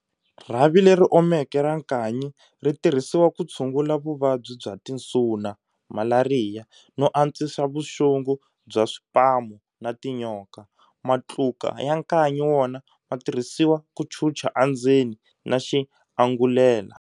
Rhavi leri omeke ra nkanyi ri tirhisiwa ku tshungula vuvabyi bya tinsuna, Malariya, no antswisa vuxungu bya swipamu na tinyoka. Matluka ya nkanyi wona matirhisiwa ku chucha a ndzeni na xianghulela.